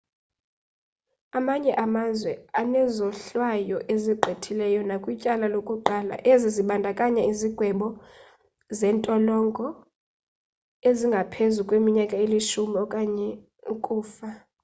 amanye amazwe anezohlwayo ezigqithileyo nakwityala lokuqala ezi zibandakanya izigwebo zentolongo ezingaphezu kweminyaka elishumi okanye ukufa